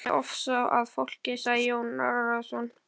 Ég fer með ofsa að fólki, sagði Jón Arason.